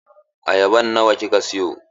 Ayaban nawa kika siyo?